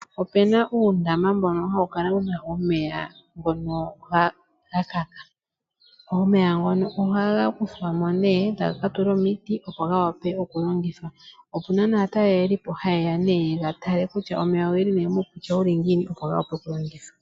Opena uundama mbono hawukala wuna omeya gakaka. Omeya ngono ohaga kuthwamo nee taga ka tulwa omiti opo gawape okulongithwa. Opuna aatalelipo hayeya nee yega tale kutya omeya ogeli muukwatya wuli ngiini opo gavule okulongithwa.